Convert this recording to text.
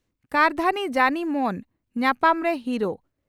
ᱠᱟᱨᱫᱷᱟᱹᱱᱤ ᱡᱟᱹᱱᱤ ᱢᱚᱱ ᱧᱟᱯᱟᱢ ᱨᱮ ᱦᱤᱨᱳ